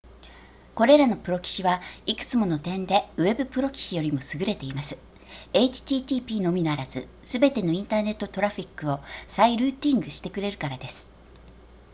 これらのプロキシはいくつもの点でウェブプロキシよりも優れています http のみならずすべてのインターネットトラフィックを再ルーティングしてくれるからです